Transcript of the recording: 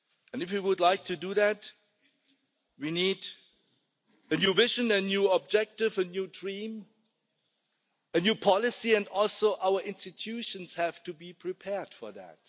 If you would like to do that, we need a new vision, a new objective, a new dream, a new policy and also our institutions have to be prepared for that.